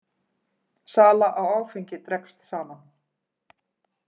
Sala á áfengi dregst saman